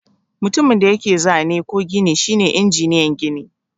Mutumin da yake zane ko gini shine injiniyan gini.